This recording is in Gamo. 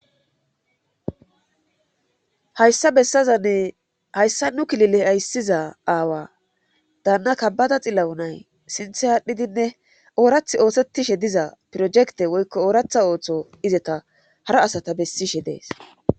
Hayssa bessazanne hayssa nu kilile ayssiza aawa daanna kabbada xillawo nay sinthe aadhdhidinne oorath oosettishe diza projekte woykko ooratha ooththo izeta hara asata bessishe dees